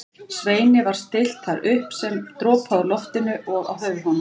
Sveini var stillt þar upp sem dropaði úr loftinu og á höfuð honum.